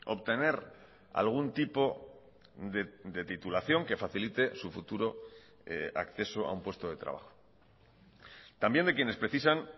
obtener algún tipo de titulación que facilite su futuro acceso a un puesto de trabajo también de quienes precisan